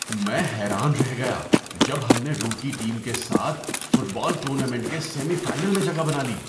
میں حیران رہ گیا جب ہم نے روکی ٹیم کے ساتھ فٹ بال ٹورنامنٹ کے سیمی فائنل میں جگہ بنا لی۔